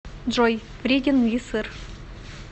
джой вреден ли сыр